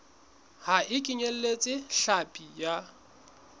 ha e kenyeletse hlapi ya